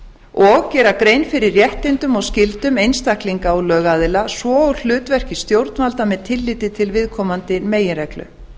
og gera grein fyrir réttindum og skyldum einstaklinga og lögaðila svo og hlutverki stjórnvalda með tilliti til viðkomandi meginreglu